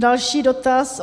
Další dotaz.